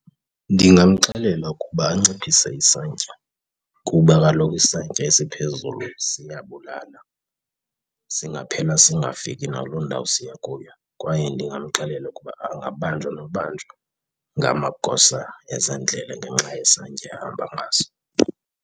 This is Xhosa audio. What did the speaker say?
Ndingamxelela ukuba anciphise isantya kuba kaloku isantya esiphezulu siyabulala, singaphela singafiki nakuloo ndawo siya kuyo kwaye ndingamxelela ukuba angabanjwa nobanjwa ngamagosa ezendlela ngenxa yesantya ahamba ngaso.